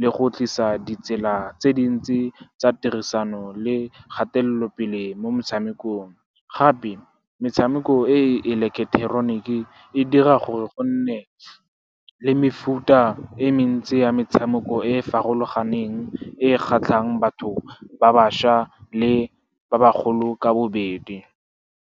le go tlisa ditsela tse dintsi tsa tirisano le kgatelopele mo motshamekong. Gape, metshameko e eleketeroniki e dira gore go nne le mefuta e mentsi ya metshameko e e farologaneng, e e kgatlhang batho ba bašwa le ba bagolo ka bobedi.